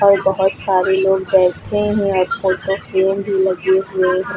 और बहोत सारे लोग बैठे हैं और फोटो फ्रेम भी लगे हुए हैं।